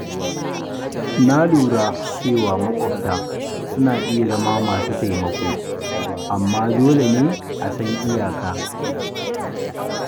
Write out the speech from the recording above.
Na lura cewa maƙwabta suna iya zama masu taimako amma dole ne a san iyaka.